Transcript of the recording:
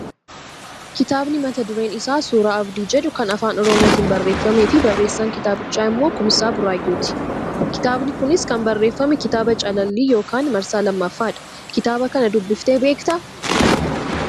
Kitaabni mata dureen isaa suuraa abdii jedhu kan afaan oromootiin barreeffamee fi barreessaan kitaabichaa immoo Kumsaa Buraayyuuti. Kitaabni kunis kan barreeffame kitaaba calallii yookaan marsaa lammaffaadha. Kitaaba kana dubbiftee beektaa?